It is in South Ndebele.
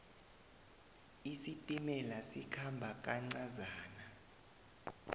isitimela sikhamba kancazana